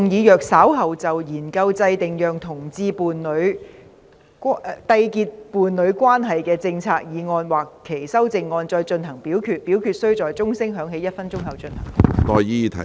主席，我動議若稍後就"研究制訂讓同志締結伴侶關係的政策"所提出的議案或修正案再進行點名表決，表決須在鐘聲響起1分鐘後進行。